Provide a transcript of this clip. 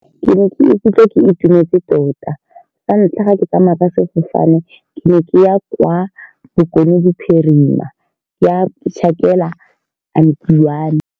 Ke ne ke ikutlwa ke itumetse tota, sa ntlha ga ke tsamaya ka sefofane ke ne ke ya kwa Bokone Bophirima ke ya go tjhakela auntie wa me.